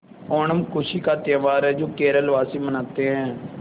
ओणम खुशी का त्यौहार है जो केरल वासी मनाते हैं